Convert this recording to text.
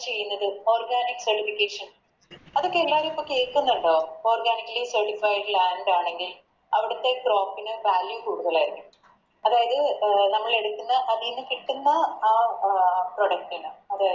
ചെയ്ന്നത് Organic certification അതൊക്കെ എല്ലാരു ഇപ്പൊ കേക്കുന്നിണ്ടോ Organic certified land ആണെങ്കിൽ അവിടുത്തെ Crop ന് Value കൂടുതലരിക്കും അതായത് അഹ് നമ്മലെടുക്ക്ന്ന അതിന്ന് കിട്ടുന്ന ആ Product ന്